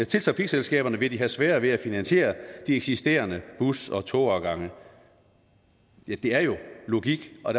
til trafikselskaberne vil de have sværere ved at finansiere de eksisterende bus og togafgange det er jo logik og